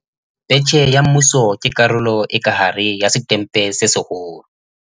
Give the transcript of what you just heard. Betjhe ya Mmuso ke karolo e ka hare ya Setempe se Seholo.